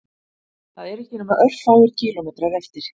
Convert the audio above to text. Það eru ekki nema örfáir kílómetrar eftir